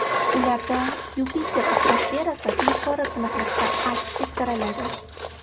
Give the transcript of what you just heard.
Ularda Yupiter atmosferasi yuqori tiniqlikda aks ettiriladi.